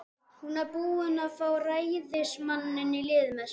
Hún var búin að fá ræðismanninn í lið með sér.